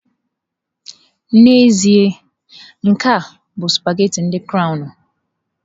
N'ezie, nke a bụ sụpaghetị ndị crọwnu.